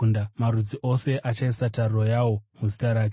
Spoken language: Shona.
Marudzi ose achaisa tariro yawo muzita rake.”